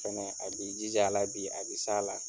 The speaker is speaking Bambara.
Fɛnɛ a bi jij'a la. Bi, a bɛ s'a la.